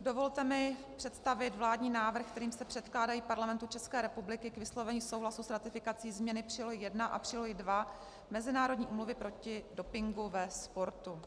dovolte mi představit vládní návrh, kterým se předkládají Parlamentu České republiky k vyslovení souhlasu s ratifikací změny Přílohy I a Přílohy II Mezinárodní úmluvy proti dopingu ve sportu.